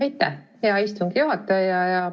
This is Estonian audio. Aitäh, hea istungi juhataja!